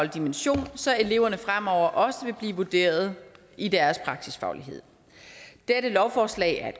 dimension så eleverne fremover også vil blive vurderet i deres praksisfaglighed dette lovforslag er